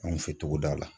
Anw fɛ togoda la